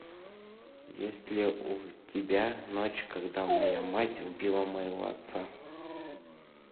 есть ли у тебя ночь когда моя мать убила моего отца